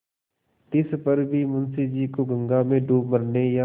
तिस पर भी मुंशी जी को गंगा में डूब मरने या